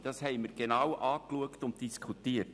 Das haben wir genau angeschaut und diskutiert.